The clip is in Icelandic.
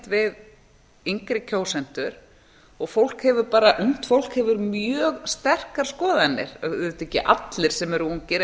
við yngri kjósendur og ungt fólk hefur mjög sterkar skoðanir auðvitað ekki allir sem eru ungir en